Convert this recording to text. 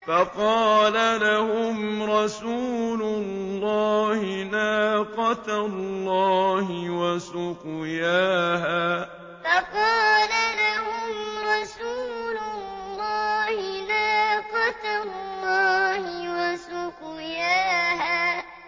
فَقَالَ لَهُمْ رَسُولُ اللَّهِ نَاقَةَ اللَّهِ وَسُقْيَاهَا فَقَالَ لَهُمْ رَسُولُ اللَّهِ نَاقَةَ اللَّهِ وَسُقْيَاهَا